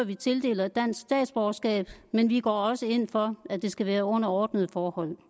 vi tildeler dansk statsborgerskab men vi går også ind for at det skal være under ordnede forhold